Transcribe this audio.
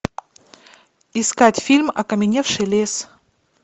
искать фильм окаменевший лес